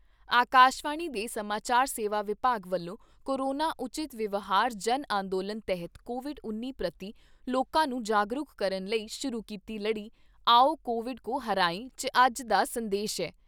ਆਕਾਸ਼ਵਾਣੀ ਦੇ ਸਮਾਚਾਰ ਸੇਵਾ ਵਿਭਾਗ ਵੱਲੋਂ ਕੋਰੋਨਾ ਉਚਿਤ ਵਿਵਹਾਰ ਜਨ ਅੰਦੋਲਨ ਤਹਿਤ ਕੋਵਿਡ ਉੱਨੀ ਪ੍ਰਤੀ ਲੋਕਾਂ ਨੂੰ ਜਾਗਰੂਕ ਕਰਨ ਲਈ ਸ਼ੁਰੂ ਕੀਤੀ ਲੜੀ " ਆਓ ਕੋਵਿਡ ਕੋ ਹਰਾਏ" 'ਚ ਅੱਜ ਦਾ ਸੰਦੇਸ਼ ਐ